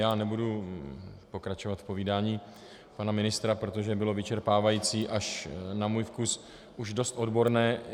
Já nebudu pokračovat v povídání pana ministra, protože bylo vyčerpávající, až na můj vkus už dost odborné.